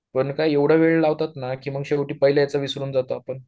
पण काय एवढा वेळ लावतात ना मग शेवटी पाहिल्याच विसरून जातो आपण